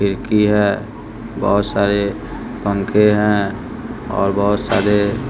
खिड़की है बहोत सारे पंखे हैं और बहोत सारे--